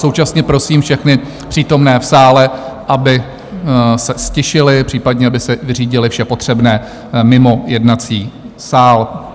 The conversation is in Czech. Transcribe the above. Současně prosím všechny přítomné v sále, aby se ztišili, případně aby si vyřídili vše potřebné mimo jednací sál.